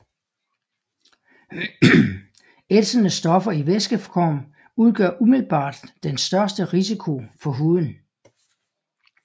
Ætsende stoffer i væskeform udgør umiddelbart den største risiko for huden